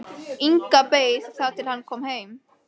Inga beið þar til hann kom heim.